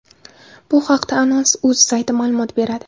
Bu haqda anons.uz sayti ma’lumot beradi.